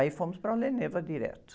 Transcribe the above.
Aí fomos para direto.